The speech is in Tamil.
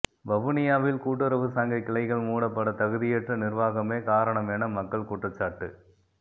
வவுனியாவில் கூட்டுறவுச்சங்க கிளைகள் மூடப்பட தகுதியற்ற நிர்வாகமே காரணமென மக்கள் குற்றச்சாட்டு